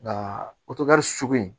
Nka otigali sugu in